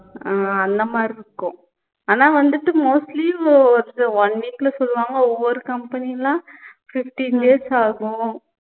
அஹ் அந்த மாதிரி இருக்கும் ஆனா வந்துட்டு mostly ஒ one week ல சொல்லுவாங்க ஒவ்வொரு company எல்லாம் fifteen days ஆகும்